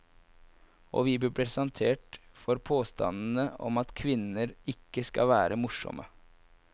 Og vi ble presentert for påstanden om at kvinner ikke skal være morsomme.